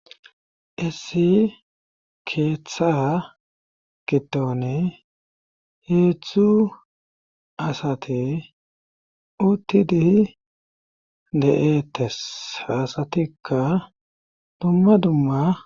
issi keeththa giddone heechchu asate utti dihi de7ettes faasatikka dumma dumma